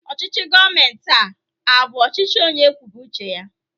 Ọchịchị gọọmenti a abụ ọchịchị onye kwube uche ya?